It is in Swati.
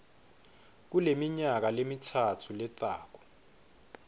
kuleminyaka lemitsatfu letako